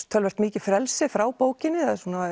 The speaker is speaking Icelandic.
töluvert mikið frelsi frá bókinni